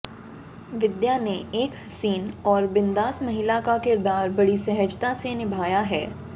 विद्या ने एक हसीन और बिंदास महिला का किरदार बड़ी सहजता से निभाया है